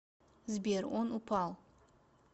сбер он упал